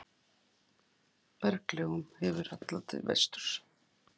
Berglögum þessum hallar til vesturs.